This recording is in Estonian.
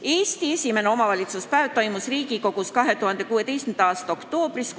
Eesti esimene omavalitsuspäev toimus Riigikogus 2016. aasta oktoobris.